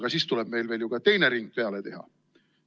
Ja siis tuleb meil ju veel ka teine ring peale teha.